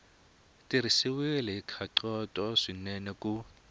tirhisiwile hi nkhaqato swinene ku